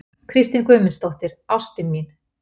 Kristín Guðmundsdóttir, ástin mín!